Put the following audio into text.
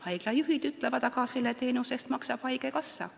Haiglajuhid ütlevad: aga selle teenuse eest maksab haigekassa.